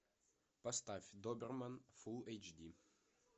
поставь доберман фулл эйч ди